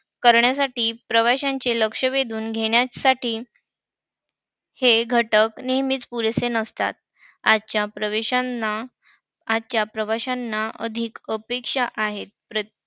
करण्यासाठी प्रवाशांचे लक्ष वेधून घेण्यासाठी हे घटक नेहमीच पुरेसे नसतात. आजच्या प्रवेशांना प्रवाशांना अधिक अपेक्षा आहेत. प्र~